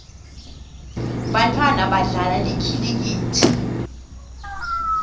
bantfwana badlala likhilikithi